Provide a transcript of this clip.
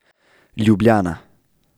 Ljubljana.